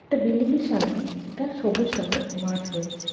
একটা বিল্ডিং -এর সামনে একটা সবুজ রঙের মাঠ রয়েছে।